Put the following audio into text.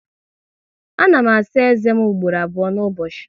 A na m asa eze m ugboro abụọ n'ụbọchị